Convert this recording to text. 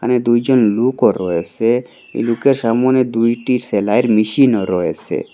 এখানে দুইজন লোকও রয়েসে লোকের সামোনে দুইটি সেলাইয়ের মেশিনও রয়েসে।